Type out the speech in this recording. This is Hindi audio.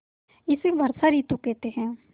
इसे वर्षा ॠतु कहते हैं